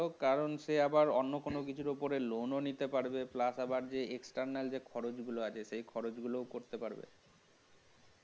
কারণ সে আবার অন্য কিছু করে লোন নিতে পারবে আবার external যে খরচ গুলো আছে সেগুলো করতে পারবে